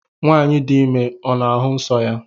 nwanyi di ime ọ n'ahụ nsọ ya?